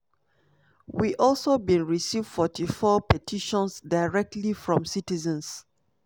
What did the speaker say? we also bin receive 44 petitions directly from citizens."